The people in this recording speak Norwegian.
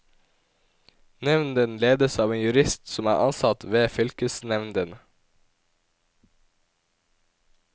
Nevnden ledes av en jurist som er ansatt ved fylkesnevnden.